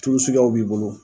Tulu sugiyaw b'u bolo.